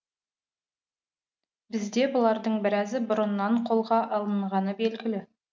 бізде бұлардың біразы бұрыннан қолға алынғаны белгілі